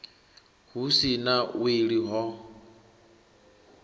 hu si na wili ho